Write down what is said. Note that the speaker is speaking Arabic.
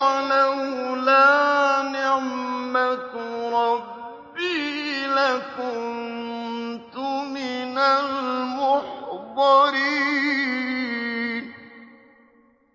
وَلَوْلَا نِعْمَةُ رَبِّي لَكُنتُ مِنَ الْمُحْضَرِينَ